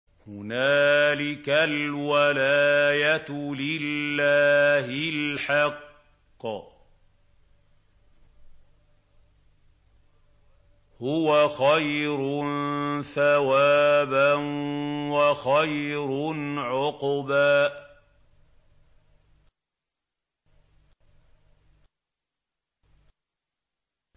هُنَالِكَ الْوَلَايَةُ لِلَّهِ الْحَقِّ ۚ هُوَ خَيْرٌ ثَوَابًا وَخَيْرٌ عُقْبًا